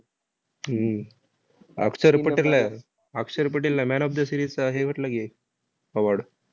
हम्म अक्षर पटेल अक्षर पटेलला man of the series चा हे भेटला की, award.